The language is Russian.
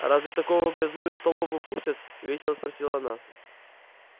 разве такого грязнулю в столовую пустят весело спросила она